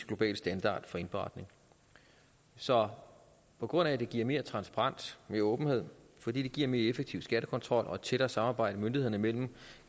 globale standarder for indberetning så på grund af at det giver mere transparens mere åbenhed fordi det giver en mere effektiv skattekontrol og et tættere samarbejde myndighederne imellem